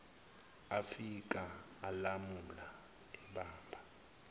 afika alamula ebamba